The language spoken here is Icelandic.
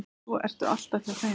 Og svo ertu alltaf hjá þeim.